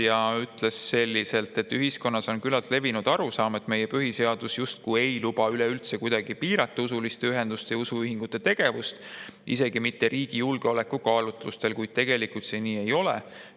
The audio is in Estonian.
Ta ütles, et ühiskonnas on küllaltki levinud arusaam, et meie põhiseadus justkui ei luba üleüldse kuidagi piirata usuliste ühenduste ja usuühingute tegevust, isegi mitte riigi julgeoleku kaalutlustel, kuid tegelikult see nii ei ole.